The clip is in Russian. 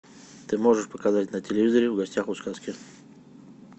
ты можешь показать на телевизоре в гостях у сказки